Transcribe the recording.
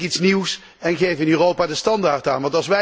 Bedenk iets nieuws en geef in Europa de standaard aan.